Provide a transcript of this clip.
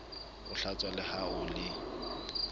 o hlatsa le ha o